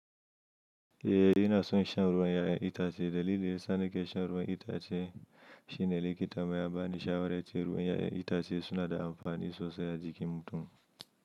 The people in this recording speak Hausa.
Eh ina son shan ruwan 'ya'yan itace dalili sa nake shan ruwan itace shine likita mu yabani shawara yace ruwan 'ya'yan itace suna da amfani sosai a jikin mutum.